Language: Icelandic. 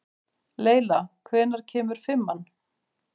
Leyla, hvenær kemur fimman?